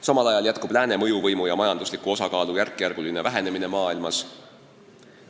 Samal ajal jätkub Lääne mõjuvõimu ja majandusliku osakaalu järkjärguline vähenemine maailmas.